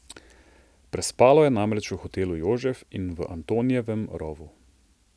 Prespalo je namreč v Hotelu Jožef in v Antonijevem rovu.